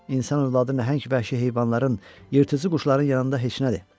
İnsan övladı nəhəng vəhşi heyvanların, yırtıcı quşların yanında heç nədir.